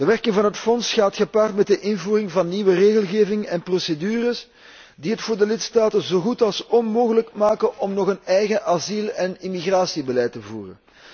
De werking van het fonds gaat gepaard met de invoering van nieuwe regelgeving en procedures die het voor de lidstaten zo goed als onmogelijk maken om nog een eigen asiel en immigratiebeleid te voeren.